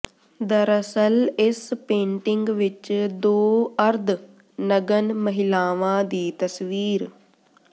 ਦਰਅਸਲ ਇਸ ਪੇਂਟਿੰਗ ਵਿੱਚ ਦੋ ਅਰਧ ਨਗਨ ਮਹਿਲਾਵਾਂ ਦੀ ਤਸਵੀਰ